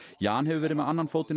Jan hefur verið með annan fótinn á